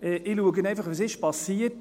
Ich schaue einfach, was geschehen ist.